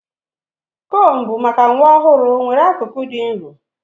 Combu maka nwa ọhụrụ nwere akụkụ dị nro.